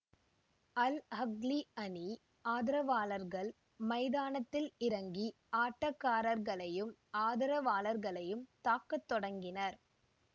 அல் Ahly அணி ஆதரவாளர்கள் மைதானத்தில் இறங்கி ஆட்டக்காரர்களையும் ஆதரவாளர்களையும் தாக்கத் தொடங்கினர்